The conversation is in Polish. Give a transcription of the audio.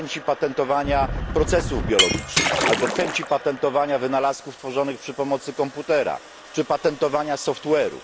w chęci patentowania procesów biologicznych albo w chęci patentowania wynalazków tworzonych przy pomocy komputera czy patentowania software'u.